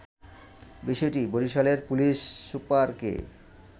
বিষয়টি বরিশালের পুলিশ সুপারকে